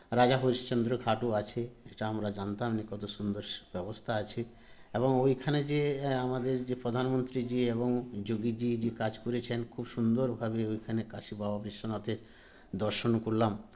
রাজা হরিশ্চন্দ্র ঘাটও আছে এটা আমরা জানতাম যে কত সুন্দর স ব্যবস্থা আছে এবং ঐখানে যে এ আমাদের যে প্রধানমন্ত্রীজি এবং যোগীজি যে কাজ করেছেন খুব সুন্দর ভাবে ঐখানে কাশী বাবা বিশ্বনাথের দর্শনও করলাম